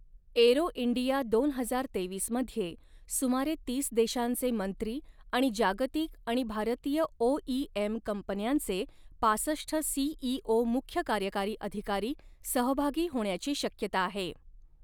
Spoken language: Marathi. एरो इंडिया दोन हजार तेवीस मध्ये सुमारे तीस देशांचे मंत्री आणि जागतिक आणि भारतीय ओइएम कंपन्यांचे पासष्ट सीईओ मुख्य कार्यकारी अधिकारी सहभागी होण्याची शक्यता आहे.